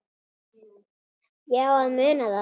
Ég á að muna það.